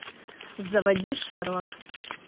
заводи шерлок